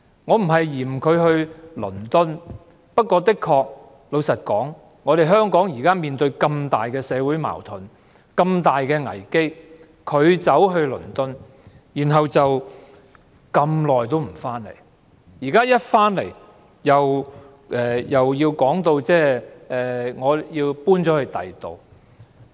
我不是不滿她前往倫敦，但香港現時面對這麼重大的社會矛盾及危機，她卻在倫敦逗留這麼長時間，回港後不久又表示要搬遷。